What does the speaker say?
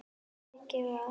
Mikið var.